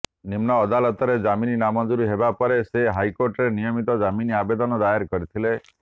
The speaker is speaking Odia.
ନିମ୍ନ ଅଦାଲତରେ ଜାମିନ ନାମଞ୍ଜୁର ହେବା ପରେ ସେ ହାଇକୋର୍ଟରେ ନିୟମିତ ଜାମିନ ଆବେଦନ ଦାୟର କରିଥିଲେ